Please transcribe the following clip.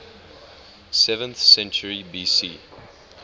seventh century bc